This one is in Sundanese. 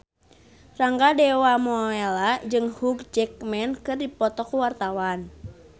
Rangga Dewamoela jeung Hugh Jackman keur dipoto ku wartawan